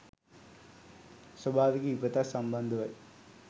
ස්වභාවික විපතක් සම්බන්ධවයි.